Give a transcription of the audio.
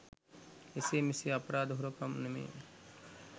එසේ මෙසේ අපරාධ හොරකම් නෙමෙයි.